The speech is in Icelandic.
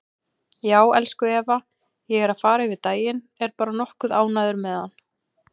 Já, elsku Eva, ég er að fara yfir daginn, er bara nokkuð ánægður með hann.